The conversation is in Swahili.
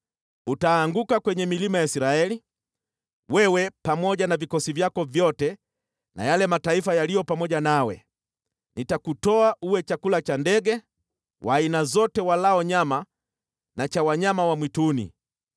Utaanguka kwenye milima ya Israeli, wewe pamoja na vikosi vyako vyote na yale mataifa yaliyo pamoja nawe. Nitakutoa uwe chakula cha ndege wa aina zote walao nyama na cha wanyama wa mwituni.